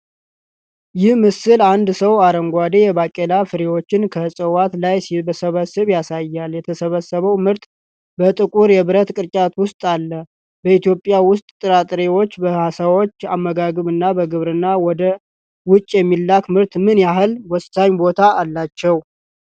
ይህ ምስል አንድ ሰው አረንጓዴ የባቄላ ፍሬዎች ከዕፅዋት ላይ ሲሰበስብ ያሳያል። የተሰበሰበው ምርት በጥቁር የብረት ቅርጫት ውስጥ አለ። በኢትዮጵያ ውስጥ ጥራጥሬዎች በሰዎች አመጋገብ እና በ ግብርና ወደ ውጭ የሚላክ ምርት ምን ያህል ወሳኝ ቦታ አላቸው?